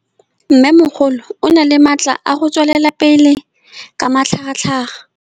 Mmêmogolo o na le matla a go tswelela pele ka matlhagatlhaga.